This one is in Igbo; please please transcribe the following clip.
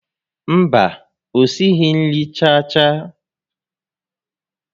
Mba, o sighi nri chaa chaa